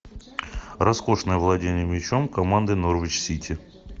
роскошное владение мячом команды норвич сити